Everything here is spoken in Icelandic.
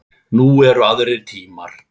Nú eru aðrir tímar.